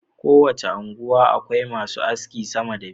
Ko wace unguwa Akwai masu aski sama da biyu